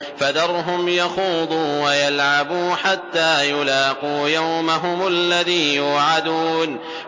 فَذَرْهُمْ يَخُوضُوا وَيَلْعَبُوا حَتَّىٰ يُلَاقُوا يَوْمَهُمُ الَّذِي يُوعَدُونَ